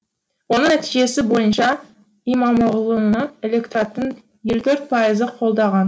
оның нәтижесі бойынша имамоғлыны электораттың елу төрт пайызы қолдаған